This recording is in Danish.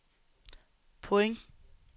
point